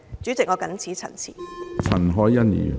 主席，我謹此陳辭。